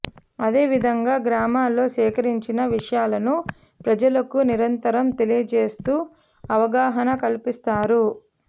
అదేవిధంగా గ్రామాల్లో సేకరించిన విషయాలను ప్రజలకు నిరంతరం తెలియచేస్తూ అవగాహన కల్పిస్తారు